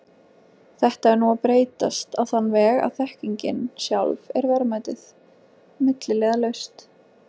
Þetta er nú að breytast á þann veg að þekkingin sjálf er verðmætið, milliliðalaust.